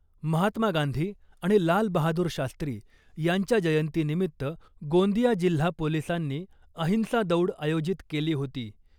महात्मा गांधी आणि लाल बहादूर शास्त्री यांच्या जयंतीनिमित्त गोंदिया जिल्हा पोलीसांनी अहिंसा दौड आयोजित केली होती .